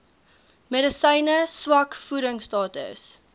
medisyne swak voedingstatus